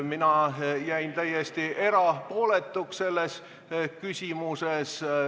Mina jäin selles küsimuses täiesti erapooletuks.